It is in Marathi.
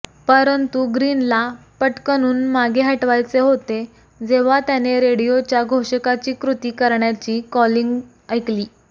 परंतु ग्रीनला पटकनून मागे हटवायचे होते जेव्हा त्याने रेडिओच्या घोषकाची कृती करण्याची कॉलिंग ऐकली